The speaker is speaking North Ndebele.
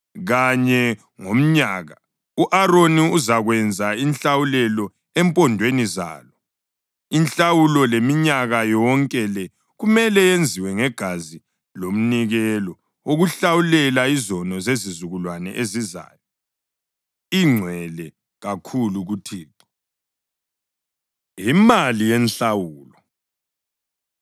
Kanye ngomnyaka u-Aroni uzakwenza inhlawulelo empondweni zalo. Inhlawulo yeminyaka yonke le kumele yenziwe ngegazi lomnikelo wokuhlawulela izono zezizukulwane ezizayo. Ingcwele kakhulu kuThixo.” Imali Yenhlawulo